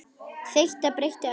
Þetta breytir öllu.